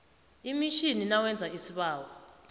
emitjhini nawenza isibawo